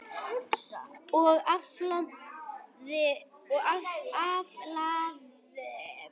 Og aflaði vel.